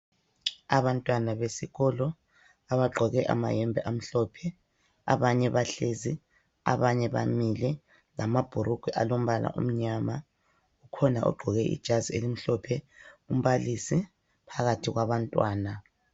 Abantwana besikolo abagqoke amayembe amhlophe, abanye bahlezi abanye bamile lama bhurugwe alombala omnyama khona ogqoke ijazi elimhlophe, umbalisi phakathi kwabantwana.